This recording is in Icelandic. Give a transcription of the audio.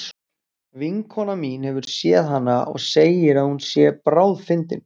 Vinkona mín hefur séð hana og segir að hún sé bráðfyndin.